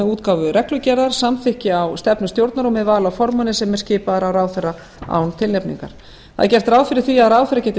útgáfu reglugerðar samþykki á stefnu stjórnar og með vali á formanni sem er skipaður af ráðherra án tilnefningar gert er ráð fyrir því að ráðherra geti